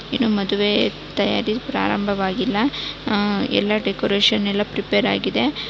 ಇನ್ನು ಮದುವೆ ತಯಾರಿ ಪ್ರಾರಂಭವಾಗಿಲ್ಲ ಆ ಎಲ್ಲ ಡೆಕೋರೇಷನ್ ಎಲ್ಲ ಪ್ರಿಪೇರ್ ಆಗಿದೆ.